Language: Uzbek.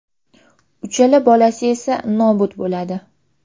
Uchala bolasi esa nobud bo‘ladi.